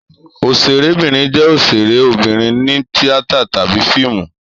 Òṣèrébìnrin jẹ́ òṣèré obìnrin ní tíátà tàbí fíìmù.